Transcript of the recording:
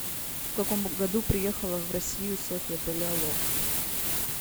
в каком году приехала в россию софья палеолог